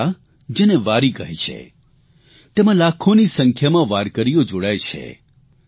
આ યાત્રા જેને વારી કહે છે તેમાં લાખોની સંખ્યામાં વાર્કરીઓ જોડાય છે